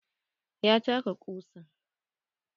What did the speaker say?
Ya taka ƙusa.